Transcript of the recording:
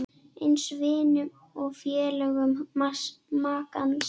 Eins vinum og félögum makans.